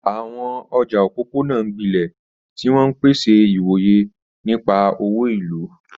Àwọn ọjà òpópónà ń gbilẹ̀, tí wọ́n ń pèsè ìwòye nípa òwò ìlú.